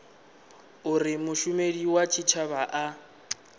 uri mushumeli wa tshitshavha a